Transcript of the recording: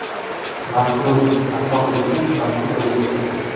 Masrur : Asosiysi, maqsad bo‘lishi kerak.